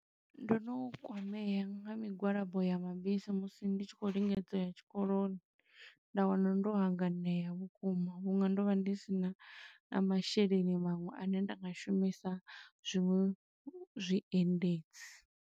Ndo no kwamea nga migwalabo ya mabisi musi ndi tshi khou lingedza u ya tshikoloni, nda wana ndo hanganea vhukuma vhuṅwe ndo vha ndi sina na masheleni maṅwe, ane nda nga shumisa zwiṅwe zwiendedzi.